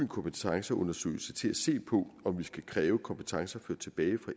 kompetenceundersøgelse til at se på om vi skal kræve kompetencer ført tilbage